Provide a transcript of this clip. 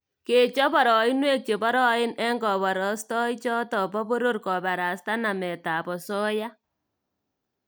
Kechop boroinwek che boroen eng koborostoichoto bo poror kobarastaa nametab osoya